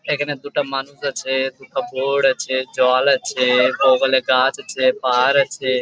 এইখানে দুটো মানুষ আছে | দুটো বোট আছে জল আছে বগলে গাছ আছে পাহাড় আছে ।